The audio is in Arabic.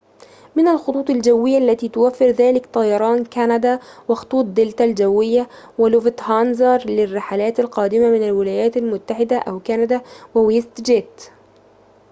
من الخطوط الجوية التي توفر ذلك طيران كندا وخطوط دلتا الجوية ولوفتهانزا للرحلات القادمة من الولايات المتحدة أو كندا وويست جيت